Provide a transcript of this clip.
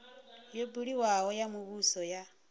yo buliwaho ya muvhuso ya